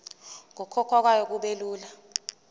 nokukhokhwa kwayo kubelula